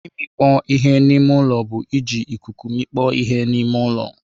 Imikpo ihe n'ime ụlọ bụ iji ikuku mikpọ ihe n'ime ụlọ.